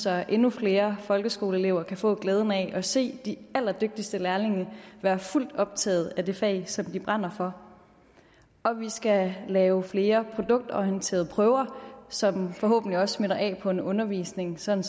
at endnu flere folkeskoleelever kan få glæden af at se de allerdygtigste lærlinge være fuldt optaget af det fag som de brænder for og vi skal lave flere produktorienterede prøver som forhåbentlig også smitter af på en undervisning sådan